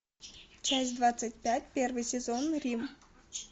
часть двадцать пять первый сезон рим